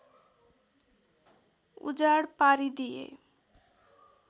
उजाड पारिदिए